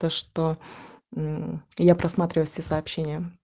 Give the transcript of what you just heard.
то что мм я просматриваю все сообщения